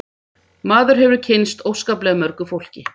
Maður hefur kynnst óskaplega mörgu fólki